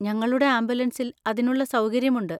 ഞങ്ങളുടെ ആംബുലൻസിൽ അതിനുള്ള സൗകര്യമുണ്ട്.